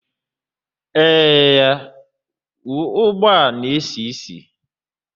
Eee ya, ugba na-esi isi